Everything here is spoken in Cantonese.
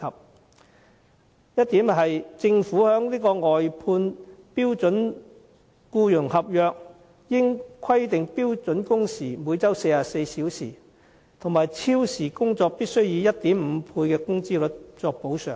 第一，政府在外判標準僱傭合約中，應規定標準工時為每周44小時，以及超時工作必須以 1.5 倍工資作補償。